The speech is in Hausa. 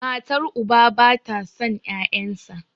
matar uba ba ta son 'ya'yansa